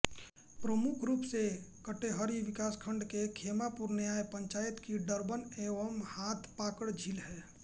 प्रमुख रूप से कटेहरी विकासखण्ड के खेमापुर न्याय पंचायत की डरबन एवं हाथपाकड़ झील है